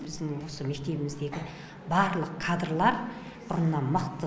біздің осы мектебіміздегі барлық кадрлар бұрыннан мықты